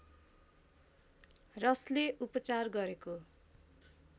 रसले उपचार गरेको